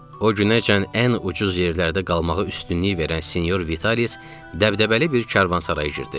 O günəcən ən ucuz yerlərdə qalmağa üstünlük verən Sinyor Vitalis dəbdəbəli bir karvansaraya girdi.